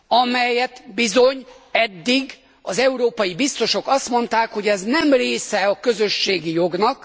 amelyről bizony eddig az európai biztosok azt mondták, hogy ez nem része a közösségi jognak.